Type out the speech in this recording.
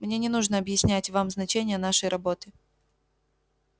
мне не нужно объяснять вам значение нашей работы